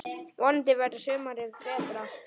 Vonandi verður sumarið betra!